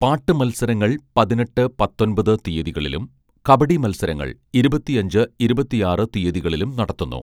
പാട്ട് മത്സരങ്ങൾ പതിനെട്ട് പത്തൊൻപത് തീയ്യതികളിലും കബഡി മത്സരങ്ങൾ ഇരുപത്തിയഞ്ച് ഇരുപത്തിയാറ് തീയ്യതികളിലും നടത്തുന്നു